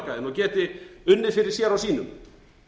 geti unnið fyrir sér og sínum